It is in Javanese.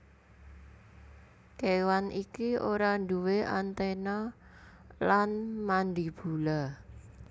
Kéwan iki ora nduwé antena lan mandibula